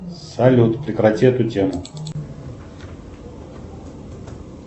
салют прекрати эту тему